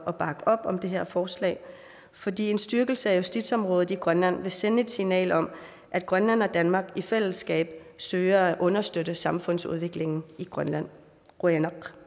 at bakke op om det her forslag fordi en styrkelse af justitsområdet i grønland vil sende et signal om at grønland og danmark i fællesskab søger at understøtte samfundsudviklingen i grønland qujanaq